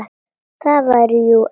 Ég var jú elst.